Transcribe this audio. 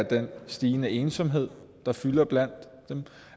den stigende ensomhed der fylder blandt dem